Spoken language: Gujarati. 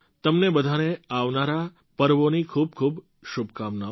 તમને બધાંને આવનારા પર્વોની ખૂબ ખૂબ શુભકામનાઓ